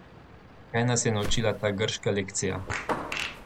Kaj nas je naučila ta grška lekcija?